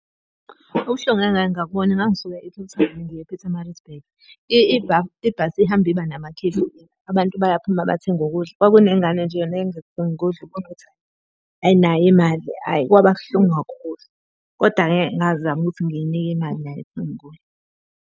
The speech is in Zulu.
Ubuhlungu engake ngabubona ngangisuka e-Cape Town ngiya e-Pietermaritzburg. Ibhasi ihambe iba namakhefu, abantu bayaphuma bathenga ukudla. Kwakunengane nje yona eyayizothenga ukudla, ubona ukuthi ayinayo imali ayi. Kwaba buhlungu kakhulu kodwa-ke ngazama ukuthi ngiyinike imali naye athenge kudla.